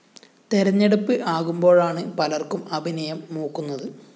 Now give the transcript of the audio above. തെരഞ്ഞെടുപ്പ് ആകുമ്പോഴാണ് പലര്‍ക്കും അഭിനയം മൂക്കുന്നത്